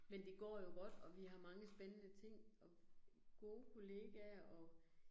Men det går jo godt, og vi har mange spændende ting, og gode kollegaer og